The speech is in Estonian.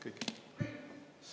Kõik.